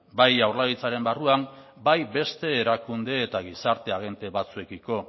bai jaurlaritzaren barruan bai beste erakunde eta gizarte agente batzuekiko